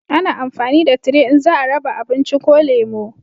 A na amfani da tire in za a raba abinci ko lemo